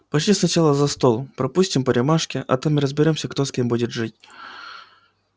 пошли сначала за стол пропустим по рюмашке а там и разберёмся кто с кем будет жить